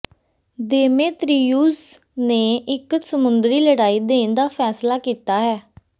Demetrius ਨੇ ਇਕ ਸਮੁੰਦਰੀ ਲੜਾਈ ਦੇਣ ਦਾ ਫੈਸਲਾ ਕੀਤਾ ਹੈ